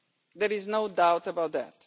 There is no doubt about that.